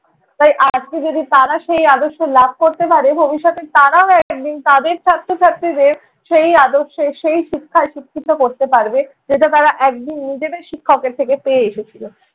তাই আজকে যদি তারা সেই আদর্শ লাভ করতে পারে ভবিষ্যতে তারাও একদিন তাদের ছাত্র ছাত্রীদের সেই আদর্শে সেই শিক্ষায় শিক্ষিত করতে পারবে, যেটা তারা একদিন নিজেদের শিক্ষকের থেকে পেয়ে এসেছিলো।